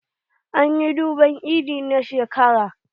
An yi durbar eid na shekarar ga.